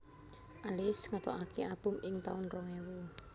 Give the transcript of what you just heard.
Alizée ngetokaké album ing taun rong ewu